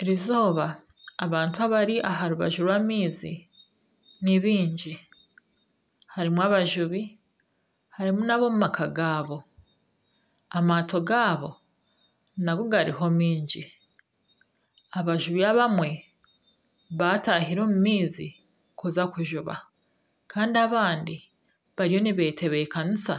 Erizooba abantu abari aha rubaju rw'amaizi ni baingi. Harimu abajubi, harimu nana ab'omumaka gaabo. Amaato gaabo nago gariho mingi. Abajubi abamwe baatahire omu maizi kuza kujuba kandi abandi bariyo nibetebekanisa